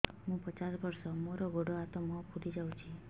ମୁ ପଚାଶ ବର୍ଷ ମୋର ଗୋଡ ହାତ ମୁହଁ ଫୁଲି ଯାଉଛି